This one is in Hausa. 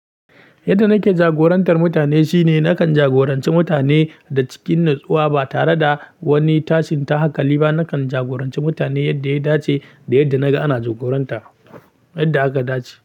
Yadda nake jagorantar mutane shine nakan jagoranci mutane da cikin natsuwa ba tare da wani tashin ta hanƙali ba. Nakan jagoranci mutane yadda ya dace da yadda naga ana jagoranta, yadda aka dace.